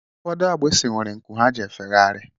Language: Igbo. Ụfọdụ agbịsị nwere nku ha ji efegharị